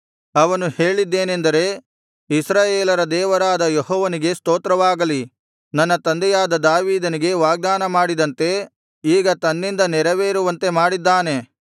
ಅವನು ಹೇಳಿದ್ದೇನೆಂದರೆ ಇಸ್ರಾಯೇಲರ ದೇವರಾದ ಯೆಹೋವನಿಗೆ ಸ್ತೋತ್ರವಾಗಲಿ ನನ್ನ ತಂದೆಯಾದ ದಾವೀದನಿಗೆ ವಾಗ್ದಾನ ಮಾಡಿದಂತೆ ಈಗ ತನ್ನಿಂದ ನೆರವೇರಿಸುವಂತೆ ಮಾಡಿದ್ದಾನೆ